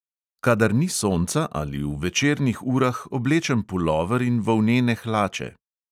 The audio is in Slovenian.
Kadar ni sonca ali v večernih urah oblečem pulover in volnene hlače.